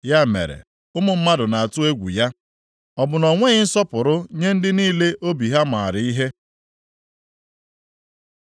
Ya mere, ụmụ mmadụ na-atụ egwu ya, ọ bụ na o nweghị nsọpụrụ nye ndị niile obi ha maara ihe?” + 37:24 Ma ọ dịghị agụnye ndị niile na-eche na ha maara ihe.